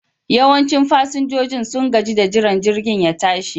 Yawancin fasinjojin sun gaji da jiran jirgin ya tashi